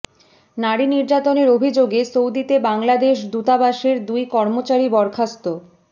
নারী নির্যাতনের অভিযোগে সৌদিতে বাংলাদেশ দূতাবাসের দুই কর্মচারী বরখাস্ত